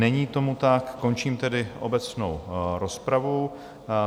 Není tomu tak, končím tedy obecnou rozpravu.